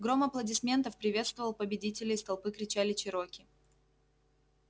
гром аплодисментов приветствовал победителя из толпы кричали чероки